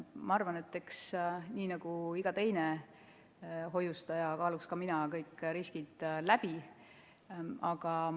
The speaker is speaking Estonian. Ma arvan, et eks nii nagu iga teine hoiustaja, kaaluksin ka mina kõik riskid läbi.